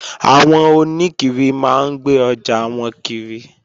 Àwọn oníkiri máa ń gbé ọjà wọn kiri